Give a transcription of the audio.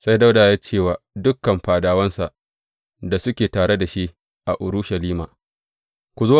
Sai Dawuda ya ce wa dukan fadawansa da suke tare da shi a Urushalima, Ku zo!